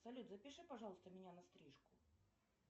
салют запиши пожалуйста меня на стрижку